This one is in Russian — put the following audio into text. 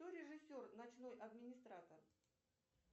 кто режиссер ночной администратор